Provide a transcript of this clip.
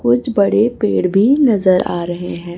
कुछ बड़े पेड़ भी नजर आ रहे हैं।